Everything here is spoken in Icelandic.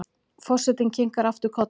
Forsetinn kinkar aftur kolli.